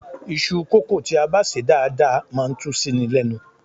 Iṣu kókò tí a bá sè dáadáa máa ń tú síni lẹ́nu.